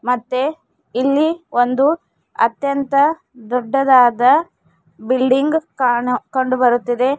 ಮತ್ತೆ ಇಲ್ಲಿ ಒಂದು ಅತ್ಯಂತ ದೊಡ್ಡದಾದ ಬಿಲ್ಡಿಂಗ್ ಕಾಣು ಕಂಡುಬರುತ್ತಿದೆ.